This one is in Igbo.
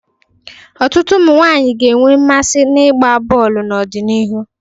Ọtụtụ ụmụ nwaanyi ga-enwe mmasị n'ịgba bọọlụ n'ọdịnihu.